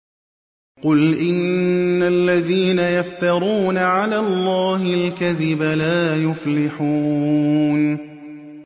قُلْ إِنَّ الَّذِينَ يَفْتَرُونَ عَلَى اللَّهِ الْكَذِبَ لَا يُفْلِحُونَ